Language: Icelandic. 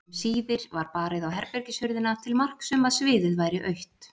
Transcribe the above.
Um síðir var barið á herbergishurðina til marks um að sviðið væri autt.